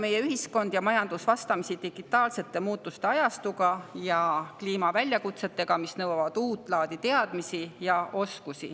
Meie ühiskond ja majandus seisavad ju vastamisi digitaalsete muutuste ajastuga ja kliimaväljakutsetega, mis nõuavadki uut laadi teadmisi ja oskusi.